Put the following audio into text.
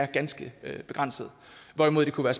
ganske begrænsede hvorimod der kunne